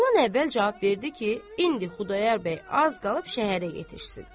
Oğlan əvvəl cavab verdi ki, indi Xudayar bəy az qalıb şəhərə yetişsin.